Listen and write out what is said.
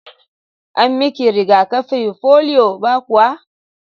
An miki riga-kafi polio ba kuwa?